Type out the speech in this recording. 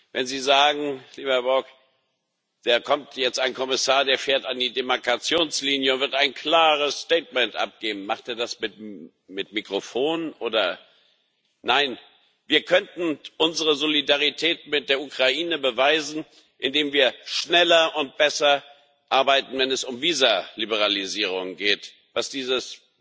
Wenn Sie sagen, lieber Herr Borg Da kommt jetzt ein Kommissar, der fährt an die Demarkationslinie und wird ein klares Statement abgeben! Macht er das mit Mikrofon? Nein, wir könnten unsere Solidarität mit der Ukraine beweisen, indem wir schneller und besser arbeiten, wenn es um Visaliberalisierung geht, was dieses